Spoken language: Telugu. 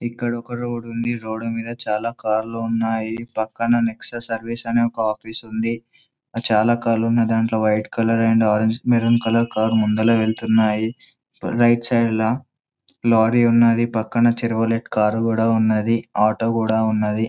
ఇక్కడ ఒక రోడ్ ఉంది. రోడ్ మీద చాల కార్లు ఉన్నాయి. పక్కన నెక్స్ట్ సర్వీస్ అనే ఒక ఆఫీస్ ఉంది. చాల కార్లు ఉన్నాయి .దాంట్లో colour and orange colour maroon colour car ముందున వెళ్తూ ఉన్నాయి. రైట్ సైడ్ల లారీ ఉన్నదీ .పక్కన చెవొర్ల్ట్ కార్ కూడా ఉన్నది .ఆటో కూడా ఉన్నది.